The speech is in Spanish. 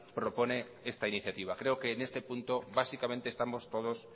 propone esta iniciativa creo que en este punto básicamente estamos todos